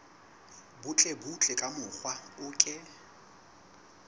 butlebutle ka mokgwa o ke